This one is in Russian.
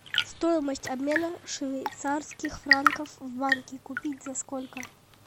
стоимость обмена швейцарских франков в банке купить за сколько